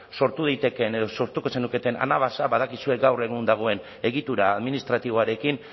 sortu daitekeen edo sortuko zenuketen anabasa badakizue gaur egun dagoen egitura administratiboarekin